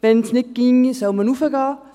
Wenn es nicht geht, soll man hinaufgehen.